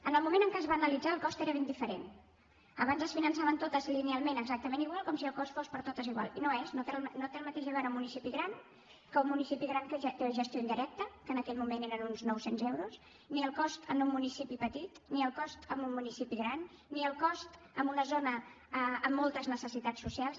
en el moment en què es va analitzar el cost era ben diferent abans es finançaven totes linealment exactament igual com si el cost fos per a totes igual i no és el mateix un municipi gran que un municipi gran que ja té gestió indirecta que en aquell moment eren uns noucents euros ni el cost en un municipi petit ni el cost en un municipi gran ni el cost en una zona amb moltes necessitats socials